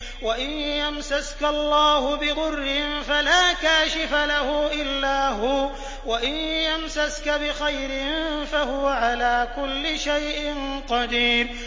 وَإِن يَمْسَسْكَ اللَّهُ بِضُرٍّ فَلَا كَاشِفَ لَهُ إِلَّا هُوَ ۖ وَإِن يَمْسَسْكَ بِخَيْرٍ فَهُوَ عَلَىٰ كُلِّ شَيْءٍ قَدِيرٌ